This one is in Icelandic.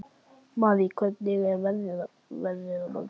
Marý, hvernig er veðrið á morgun?